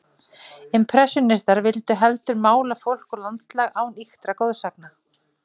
Impressjónistarnir vildu heldur mála fólk og landslag án ýktra goðsagna.